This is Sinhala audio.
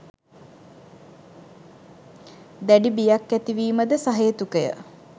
දැඩි බියක් ඇති වීමද සහේතුකය